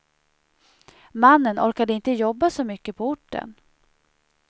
Mannen orkade inte jobba så mycket på orten.